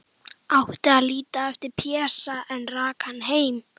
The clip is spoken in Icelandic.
Átti að líta eftir Pésa, en rak hann heim.